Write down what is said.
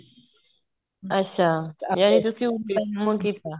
ਅੱਛਾ ਜਾਨੀ ਤੁਸੀਂ ਉੱਥੇ ਹੀ ਕੰਮ ਕੀਤਾ